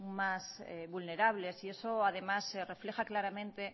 más vulnerables y eso además se refleja claramente